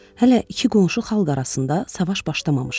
Hələ iki qonşu xalq arasında savaş başlamamışdı.